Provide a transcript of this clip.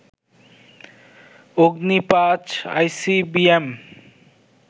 Agni ৫ ICBM